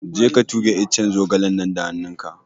Je ka tuge iccen zogalen nan da hannun ka!